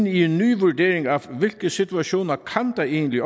i en ny vurdering af hvilke situationer der egentlig